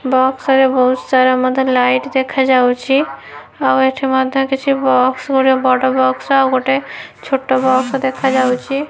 Box ରେ ବହୁତ୍ ସାରା ମଧ୍ୟ ଲାଇଟ୍ ଦେଖା ଯାଉଛି ଆଉ ଏଠି ମଧ୍ୟ କିଛି ବକ୍ସ ଗୋଟେ ବଡ଼ ବକ୍ସ ଆଉ ଛୋଟ ବକ୍ସ ଦେଖା ଯାଉଛି।